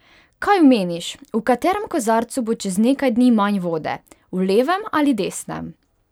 Kaj meniš, v katerem kozarcu bo čez nekaj dni manj vode, v levem ali desnem?